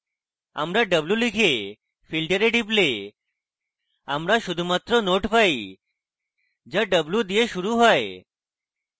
আমরা w লিখে filter we টিপলে আমরা শুধুমাত্র nodes পাই যা w দিয়ে শুরু হয়